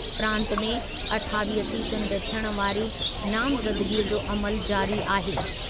प्रांत में अठावीह सीटुनि ते थियण वारी नामज़दगीअ जो अमलु जारी आहे।